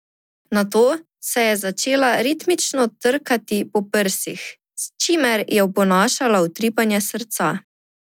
Nato se je začela ritmično trkati po prsih, s čimer je oponašala utripanje srca.